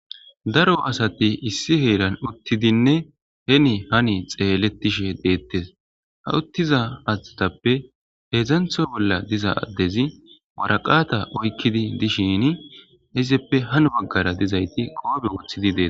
Daro asati issi heeran uttidinne heni hani xeeletishe deettes ha uttiza atatappe heedzdzantho bolla diza addezi waraqata oykkidi dishini izeppe han baggara dizayti qoobe woothidi dee.